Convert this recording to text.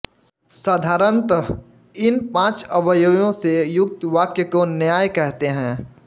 साधारणतः इन पाँच अवयवों से युक्त वाक्य को न्याय कहते हैं